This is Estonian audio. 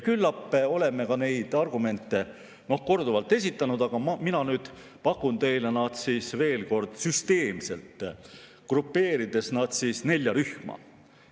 Küllap oleme neid argumente korduvalt esitanud, aga mina pakun teile neid veel kord süsteemselt, grupeerides need nelja rühma.